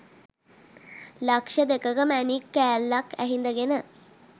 ලක්‍ෂ දෙකක මැණික්‌ කෑල්ලක්‌ ඇහිඳගෙන